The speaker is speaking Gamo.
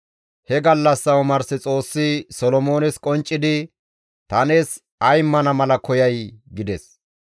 He gallassa omars Xoossi Solomoones qonccidi, «Ta nees ay immana mala koyay?» gides.